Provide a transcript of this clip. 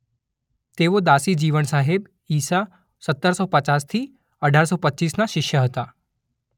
તેઓ દાસી જીવણ સાહેબ ઇસા સતર સો પચાસ થી અઢાર સો પચીસના શિષ્ય હતા.